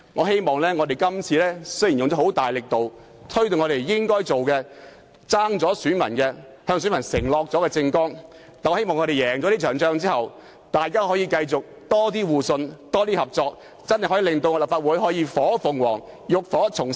雖然我們這次花了很大力度才做到該做的事情，是在政綱中承諾選民要做並虧欠選民的事情，但我希望在勝出這場仗後，大家可以有較多互信和合作，令立法會變成火鳳凰，浴火重生。